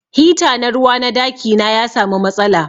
Hita na ruwa na daki na ya samu matsala.